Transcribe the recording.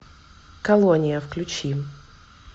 колония включи